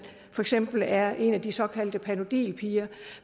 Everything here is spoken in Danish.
for eksempel er en af de såkaldte panodilpiger